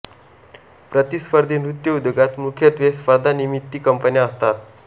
प्रतिस्पर्धी नृत्य उद्योगात मुख्यत्वे स्पर्धा निर्मिती कंपन्या असतात